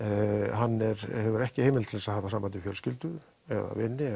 hann hefur ekki heimild til að hafa samband við fjölskyldu eða vini